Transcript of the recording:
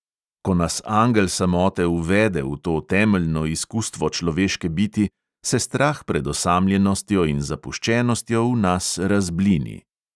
Ko nas angel samote uvede v to temeljno izkustvo človeške biti, se strah pred osamljenostjo in zapuščenostjo v nas razblini.